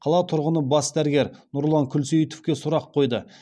қала тұрғыны бас дәрігер нұрлан күлсейітовке сұрақ қойды